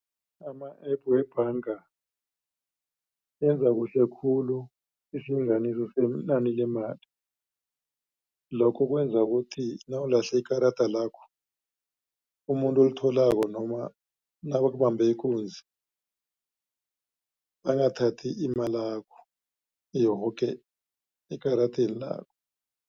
Ama-app webhanga enza kuhle khulu isilinganiso senani lemali. Lokho kwenza ukuthi nawulahle ikarada lakho umuntu olitholako noma nabakubambe ikunzi angathathi imalakho yoke ekaradeni